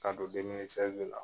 Ka don demili sɛzi la